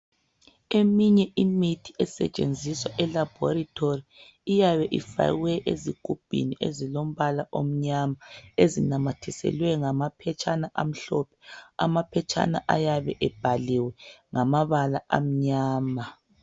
Eminye imithi esetshenziswa elabhorithori iyabe ifakwe ezigubhini ezilombala omnyama ezinamathiselwe ngamaphetshana amhlophe. Amaphetshana ayabe ebhaliwe ngamabala amnyama.